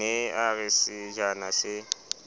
ne a re sejana se